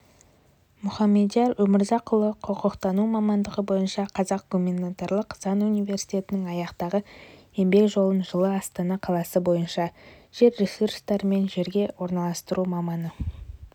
мұхамадияр өмірзақұлы құқықтану мамандығы бойынша қазақ гуманитарлық-заң университетін аяқтаған еңбек жолын жылы астана қаласы бойынша жер ресурстары мен жерге орналастыру маманы